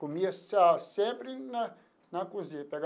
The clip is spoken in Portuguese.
Comia só sempre na na cozinha, pegava.